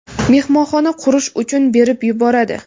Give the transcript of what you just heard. mehmonxona qurish uchun berib yuboradi.